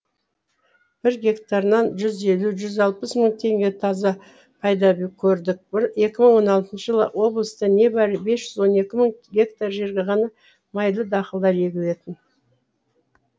бір гектарынан жүз елу жүзалпыс мың теңге таза пайда көрдік екі мың он алтыншы жылы облыста небәрі бес жүз он екі мың гектар жерге ғана майлы дақылдар егілетін